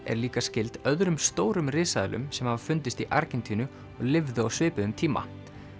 er líka skyld öðrum stórum risaeðlum sem hafa fundist í Argentínu og lifðu á svipuðum tíma